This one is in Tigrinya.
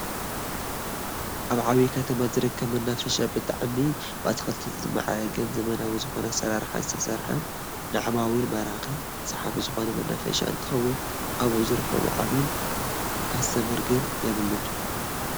ኣብ ዓብዪ ከተማ ዝርከብ መናፈሻ ብጣዕሚ ብኣትክልቲ ዝማዕረገን ዘመናዊ ዝኾነ ኣሰራርሓ ዝተሰርሐን ንዓማዊል ማራኪ/ሰሓቢ ዝኾነ መናፈሻ እንትኸውን ኣብኡ ዝረኣይ ዓሚል/ካስተመር ግን የብሉን፡፡